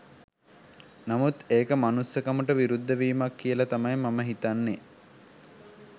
නමුත් ඒක මනුස්සකමට විරුද්ධ වීමක් කියල තමයි මම හිතන්නේ.